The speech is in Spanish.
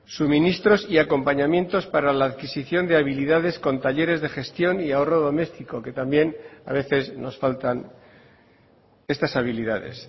suministros y acompañamientos para la adquisición de habilidades con talleres de gestión y ahorro doméstico que también a veces nos faltan estas habilidades